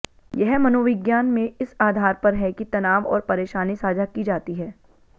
यह मनोविज्ञान में इस आधार पर है कि तनाव और परेशानी साझा की जाती है